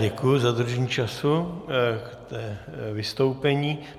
Děkuji za dodržení času k vystoupení.